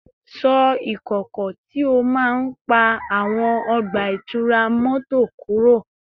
Ṣọ́ ìkọ̀kọ̀ tí ó máa ń pa àwọn ọgbà ìtura mọ́tò kúrò